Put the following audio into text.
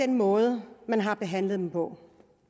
den måde man har behandlet dem på